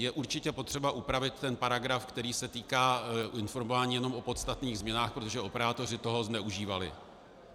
Je určitě potřeba upravit ten paragraf, který se týká informování jenom o podstatných změnách, protože operátoři toho zneužívali.